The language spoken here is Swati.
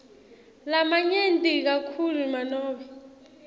lamanyenti kakhulu nanobe